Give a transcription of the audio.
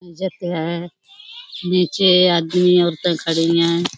इजत है नीचे आदमी औरतें खड़ी हैं।